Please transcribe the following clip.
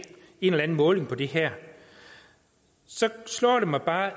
en eller anden måling på det her så slår det mig bare